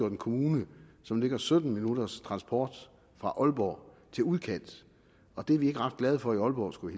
en kommune som ligger sytten minutters transporttid fra aalborg til udkant og det er vi ikke ret glade for i aalborg skulle